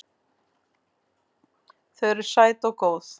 Þau eru sæt og góð.